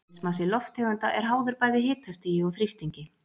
Eðlismassi lofttegunda er háður bæði hitastigi og þrýstingi.